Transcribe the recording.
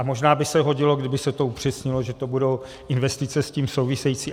A možná by se hodilo, kdyby se to upřesnilo, že to budou investice s tím související.